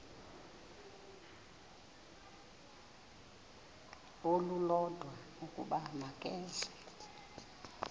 olulodwa ukuba makeze